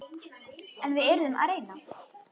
En við yrðum að reyna.